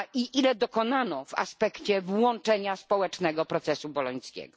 Ile dokonano w aspekcie włączenia społecznego procesu bolońskiego?